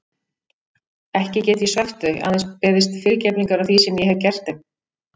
Ekki get ég svæft þau, aðeins beðist fyrirgefningar á því sem ég hef gert þeim.